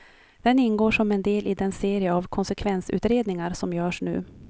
Den ingår som en del i den serie av konsekvensutredningar som görs nu.